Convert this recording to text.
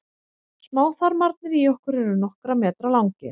smáþarmarnir í okkur eru nokkurra metra langir